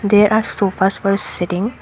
They are sofas were setting.